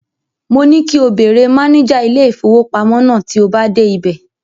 Mo ní kí o béèrè máníjà ilé-ìfowópamọ́ náà tí o bá dé ibẹ̀.